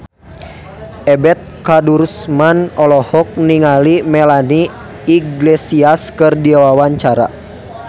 Ebet Kadarusman olohok ningali Melanie Iglesias keur diwawancara